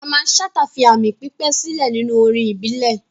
Mamman Shata fi aami pípẹ́ sílẹ̀ nínú orin ìbílẹ̀.